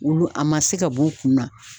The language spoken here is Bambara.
Olu a ma se ka b'u kun na